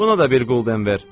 Buna da bir qulden ver.